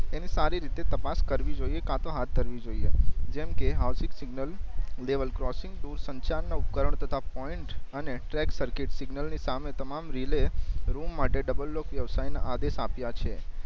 એની સારી રીતે તપાસ કરવી જોઈએ કાતો હાત ધરવી જોઈએ જેમ કે સિગ્નલ લેવલ ક્રોસિંગ ટુ સંચાર ના ઉપકરણ તથા પોઈન્ટ અને ટ્રેક સર્કિટ સિગ્નલ ની સામે તમામ રિલે રૂમ માટે ડબલ લોક વ્યવસાય ના આધે સાયપિયા છે